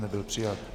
Nebyl přijat.